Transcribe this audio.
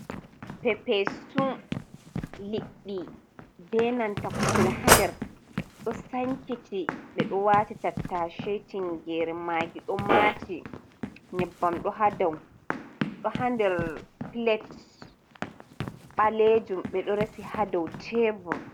Pepesun liɗɗi be nanta kusel haa nder ɗo sankiti, ɓe ɗo waati tattace, tinngeere, maagi ɗo maati, nyabbam ɗo haa dow, ɗo haa nder pilet ɓaleejum, ɓe ɗo resi haa dow teebur.